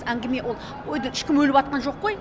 әңгіме ол одан ешкім өліпатқан жоқ қой